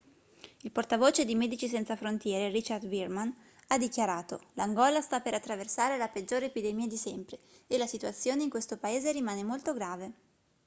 il portavoce di medici senza frontiere richard veerman ha dichiarato l'angola sta per attraversare la peggiore epidemia di sempre e la situazione in questo paese rimane molto grave